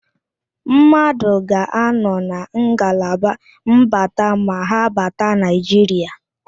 Mmadụ ga-anọ na ngalaba mbata ma ha bata Naịjiria.